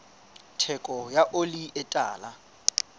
theko ya oli e tala